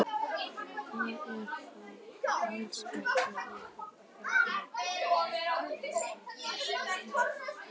Það er þó alls ekki hægt að slá þessu föstu.